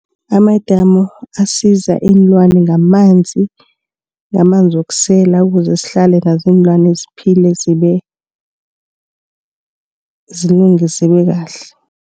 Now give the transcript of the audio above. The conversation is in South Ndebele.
Amadamu asiza iinlwana ngamanzi, ngamanzi wokusela ukuze sihlale nazo iinlwane ziphile zilunge zibe kahle.